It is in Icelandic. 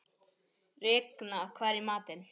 Regína, hvað er í matinn?